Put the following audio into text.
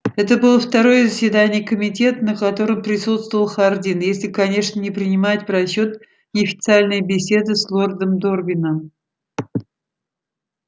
это было второе заседание комитета на котором присутствовал хардин если конечно не принимать в расчёт неофициальные беседы с лордом дорвином